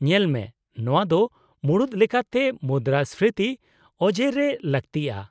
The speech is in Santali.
-ᱧᱮᱞᱢᱮ, ᱱᱚᱶᱟ ᱫᱚ ᱢᱩᱲᱩᱫ ᱞᱮᱠᱟᱛᱮ ᱢᱩᱫᱨᱟᱹᱥᱯᱷᱤᱛᱤ ᱚᱡᱮᱨᱮ ᱞᱟᱹᱜᱛᱤᱜᱼᱟ ᱾